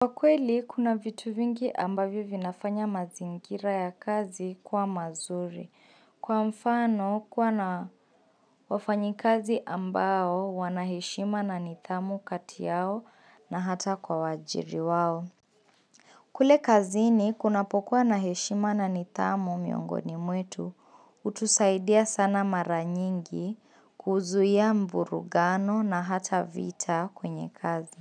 Kwa kweli, kuna vitu vingi ambavyo vinafanya mazingira ya kazi kuwa mazuri. Kwa mfano, kuwa na wafanyikazi ambao wanaheshima na nidhamu kati yao na hata kwa waajiri wao. Kule kazini, kunapokua na heshima na nidhamu miongoni mwetu, hutusaidia sana mara nyingi kuzuia mvurugano na hata vita kwenye kazi.